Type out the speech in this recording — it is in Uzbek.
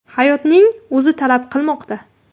Hayotning o‘zi talab qilmoqda.